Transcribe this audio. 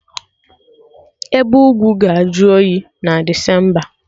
Ebe ugwu ga-ajụ oyi na Desemba